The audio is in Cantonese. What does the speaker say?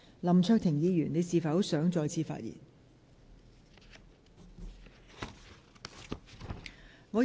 林卓廷議員，你是否想再次發言？